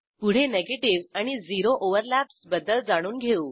पुढे निगेटीव्ह आणि zero overlaps बद्दल जाणून घेऊ